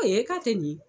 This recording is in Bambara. A ye k'a kɛ nin ye